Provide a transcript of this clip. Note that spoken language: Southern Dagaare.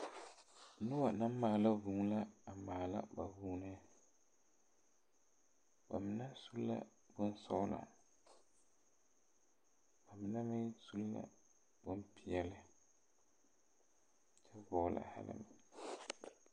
Nobɔ naŋ maala vūū la a maala ba vūūne ba mine su la bonsɔglɔ ka ba mine meŋ su bonpeɛɛle kyɛ vɔɔle hɛlɛmɛn.